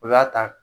O y'a ta